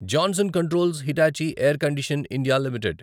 Johnson controls Hitachi air condition India limited